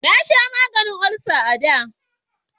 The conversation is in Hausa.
Na sha maganin olsa a da